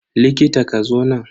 Likita, ka zo nan.